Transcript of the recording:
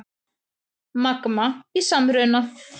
Magma í samruna